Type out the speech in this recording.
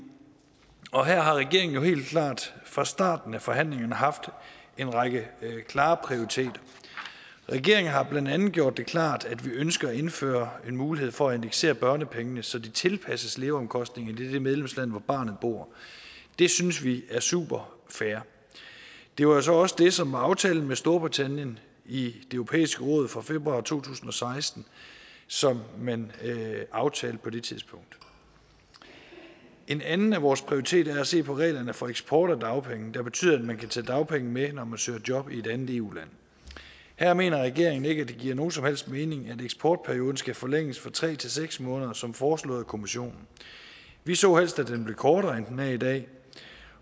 og her har regeringen jo helt klart fra starten af forhandlingerne haft en række klare prioriteter regeringen har blandt andet gjort det klart at vi ønsker at indføre en mulighed for at indeksere børnepengene så de tilpasses leveomkostningerne i det medlemsland hvor barnet bor det synes vi er superfair det var jo så også det som var aftalen med storbritannien i det europæiske råd fra februar to tusind og seksten som man aftalte på det tidspunkt en anden af vores prioriteter er at se på reglerne for eksport af dagpenge der betyder at man kan tage dagpenge med når man søger job i et andet eu land her mener regeringen ikke at det giver nogen som helst mening at eksportperioden skal forlænges fra tre til seks måneder som foreslået af kommissionen vi så helst at den blev kortere end den er i dag